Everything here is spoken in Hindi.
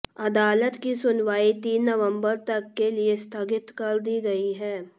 अदालत की सुनवाई तीन नवंबर तक के लिए स्थगित कर दी गई है